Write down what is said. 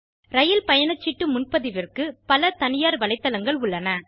ரயில் பயணசீட்டு முன்பதிவிற்கு பல தனியார் வலைத்தளங்கள் உள்ளன